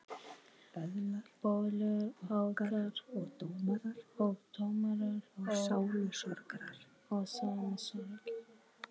Böðlar okkar og dómarar og sálusorgarar.